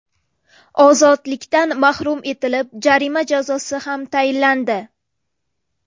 ozodlikdan mahrum etilib, jarima jazosi ham tayinlandi.